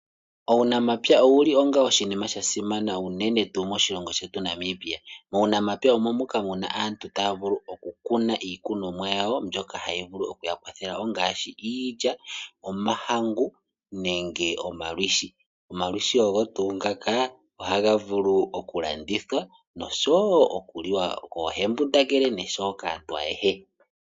Uunamapya owo oshinima shasimana unene tuu moshilongo shetu Namibia. Uunampaya omo muka muna aantu ta ya vulu oku kuna iikunomwa yawo yawo mbyoka ha yi vulu okuyakwathela ngaashi iilya, omahangu nenge omalwiishi ngoka ha ga vulu okulandithwa nosho woo oku liwa koo embundangele nosho woo kaantu ayehe.